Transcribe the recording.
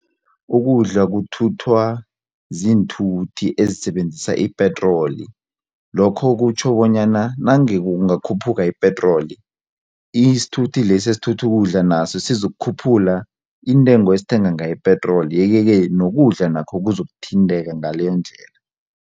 Ukudla kuthuthwa ziinthuthi ezisebenzisa ipetroli lokho kutjho bonyana nange kungakhuphuka ipetroli isithuthi lesi esithutha ukudla naso sizokukhuphula intengo esithenga ngayo ipetroli yeke-ke nokudla nakho kuzakuthinteka ngaleyondlela.